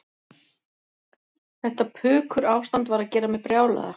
Þetta pukurástand var að gera mig brjálaða.